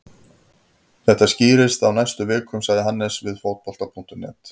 Þetta skýrist á næstu vikum, sagði Hannes við Fótbolta.net.